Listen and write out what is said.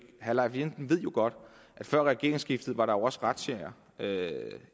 herre leif lahn ved jo godt at før regeringsskiftet var der også razziaer